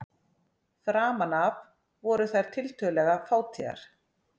Framan af voru þær tiltölulega fátíðar.